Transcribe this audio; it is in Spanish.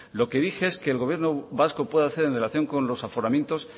lo que dije es que el gobierno vasco puede hacer en relación con los aforamientos